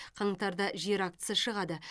қаңтарда жер актісі шығады